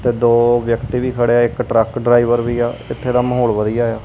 ਤੇ ਦੋ ਵਿਅਕਤੀ ਵੀ ਖੜੇ ਆ ਇੱਕ ਟਰੱਕ ਡਰਾਈਵਰ ਵੀ ਆ ਇਥੇ ਦਾ ਮਾਹੌਲ ਵਧੀਆ ਆ।